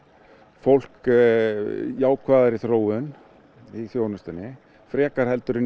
fólk jákvæðari þróun í þjónustunni frekar en í